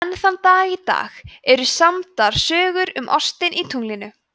enn þann dag í dag eru samdar sögur um ostinn í tunglinu